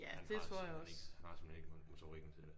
Han har simpelthen ikke han har simpelthen ikke motorikken til det